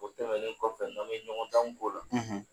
O tɛmɛnlen kɔfɛ n' a bɛ ɲɔgɔn ta in ko la;